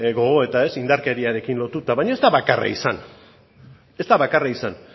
gogoeta indarkeriarekin lotuta baina ez da bakarra izan ez da bakarra izan